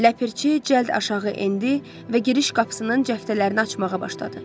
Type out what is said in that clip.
Ləpirçi cəld aşağı endi və giriş qapısının cəftələrini açmağa başladı.